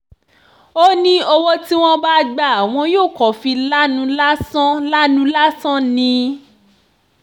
ó ní owó tí wọ́n bá gbà wọ́n yóò kàn fi lanu lásán lanu lásán ni